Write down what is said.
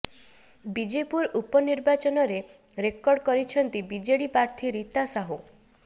ବିଜେପୁର ଉପନିର୍ବାଚନରେ ରେକର୍ଡ କରିଛନ୍ତି ବିଜେଡ଼ି ପ୍ରାର୍ଥୀ ରୀତା ସାହୁ